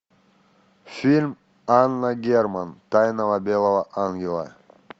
фильм анна герман тайна белого ангела